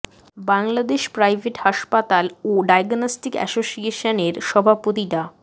Bangladesh private হাসপাতাল ও diagnostic association এর সভাপতি ডা